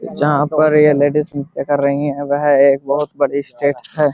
जहां पर ये लेडीज नृत्य कर रही हैं वह एक बहोत बड़ी स्टेट है।